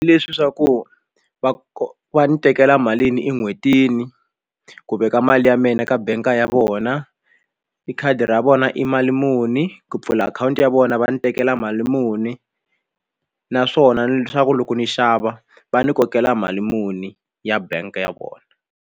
Leswi swa ku va va ni tekela malini en'hwetini ku veka mali ya mina ka bangi ya vona i khadi ra vona i mali muni ku pfula akhawunti ya vona va ni tekela mali muni naswona leswaku loko ni xava va ni kokela mali muni ya bank ya kona.